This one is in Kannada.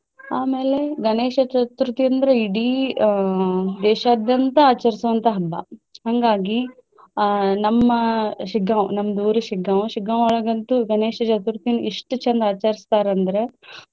ಆಮೇಲೆ ಗಣೇಶ ಚತುರ್ಥಿ ಅಂದ್ರ ಇಡೀ ಆಹ್ ದೇಶ್ಯಾದಂತ ಆಚಾರಿಸುವಂತ ಹಬ್ಬ ಹಂಗಾಗಿ ಆಹ್ ನಮ್ಮ Shiggaon ನಮ್ದು ಊರು Shiggaon . Shiggaon ಗಂತು ಗಣೇಶ ಚತುರ್ಥಿನ್ ಇಷ್ಟ ಚಂದ ಆಚರಸ್ತಾರ ಅಂದ್ರ.